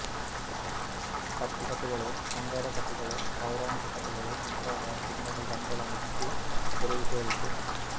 ಕಟ್ಟು ಕಥೆಗಳು ಶೃಂಗಾರ ಕಥೆಗಳು ಪೌರಾಣಿಕ ಕಥೆಗಳು ಮುಂತಾದ ಚಿನ್ನದ ಗಣಿಗಳನ್ನದು ತೆರೆದು ತೋರಿತು